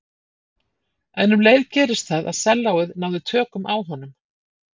En um leið gerðist það að sellóið náði tökum á honum.